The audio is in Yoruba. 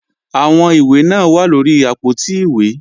Àwọn ìwé náà wà lóri àpótí ìwé